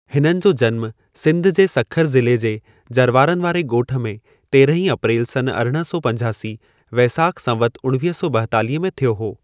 हिननि जो जन्मु सिंधु जे सख़रु ज़िले जे जरवारनि वारे गो॒ठ में (तेरहीं अप्रेल सनु अरिड़हं सौ पंजासी) वेसाखु संवतु उणवीह सौ बा॒एतालीह में थियो हो।